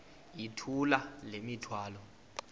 yithula le mithwalo